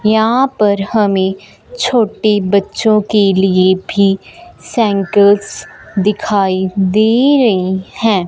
यहां पर हमें छोटे बच्चों के लिए भी साइकल्स दिखाई दे रही हैं।